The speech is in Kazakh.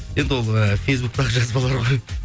енді ол і фейсбуктегі жазбалар ғой